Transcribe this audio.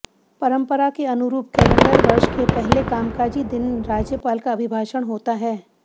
परंपरा के अनुरूप कैलेंडर वर्ष के पहले कामकाजी दिन राज्यपाल का अभिभाषण होता है